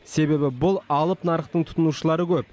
себеб бұл алып нарықтың тұтынушылары көп